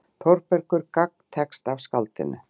Þórbergur gagntekst af skáldinu.